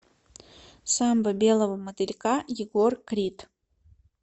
самба белого мотылька егор крид